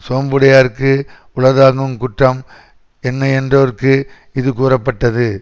சோம்புடையார்க்கு உளதாகுங் குற்றம் என்னையென்றார்க்கு இது கூறப்பட்டது